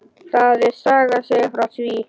Það er saga að segja frá því.